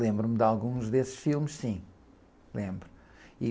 Lembro-me de alguns desses filmes, sim. Lembro, e...